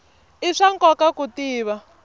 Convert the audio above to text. i swa nkoka ku tiva